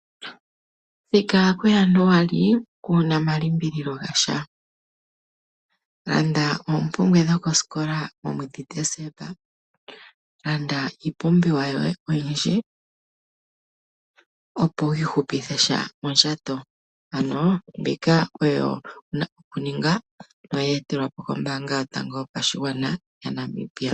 Thika ku Januali kuna omalimbililo gasha, landa oompumbwe dhosikola momwedhi Dezemba. Landa iipumbiwa yoye oyindji opo wu ihupithe sha mondjato. Ano mbika oyo wuna oku ninga toyi etelwa po kombaanga yotango yo pashigwana yaNamibia.